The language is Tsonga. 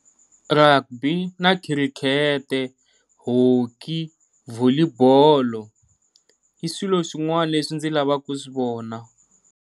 Rugby na cricket, hockey, volley bolo i swilo swin'wana leswi ndzi lavaka ku swi vona.